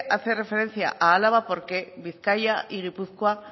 hace referencia a álava porque bizkaia y gipuzkoa